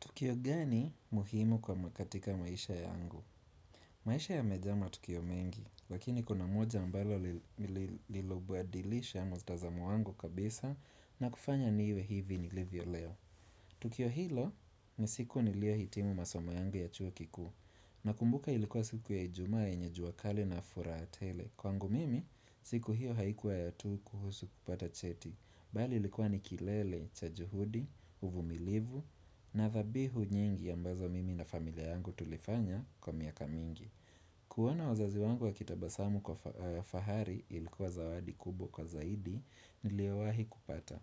Tukio gani muhimu kwa makatika maisha yangu? Maisha yamejaa ma tukio mengi, lakini kuna moja ambalo lililobadilisha mtazamo wangu kabisa na kufanya niwe hivi ni livyo leo. Tukio hilo nisiku niliyo hitimu masomo yangu ya chuo kikuu na kumbuka ilikuwa siku ya ijumaa yenye juakali na furaha tele. Kwangu mimi, siku hiyo haikuwa ya tu kuhusu kupata cheti. Bali likuwa nikilele, cha juhudi, uvumilivu, na thabihu nyingi ambazo mimi na familia yangu tulifanya kwa miaka mingi. Kuona wazazi wangu wa kitabasamu kwa fahari ilikuwa zawadi kubwa kwa zaidi niliowahi kupata.